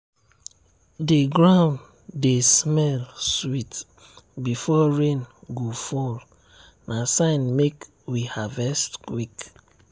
the ground dey smell sweet before rain go fall na sign make we harvest quick.